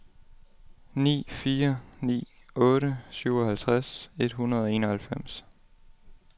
ni fire ni otte syvoghalvtreds et hundrede og enoghalvfems